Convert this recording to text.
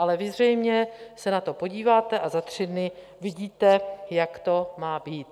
Ale vy zřejmě se na to podíváte a za tři dny vidíte, jak to má být.